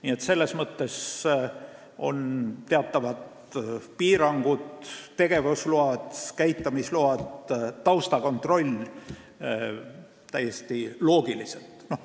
Nii et selles mõttes on teatavad piirangud, tegevusload, käitamisload ja taustakontroll täiesti loogilised.